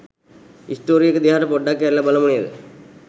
Story එක දිහාට පොඩ්ඩක් හැරිලා බලමු නේද?